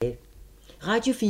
Radio 4